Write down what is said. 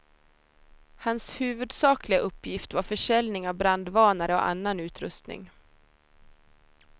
Hans huvudsakliga uppgift var försäljning av brandvarnare och annan utrustning.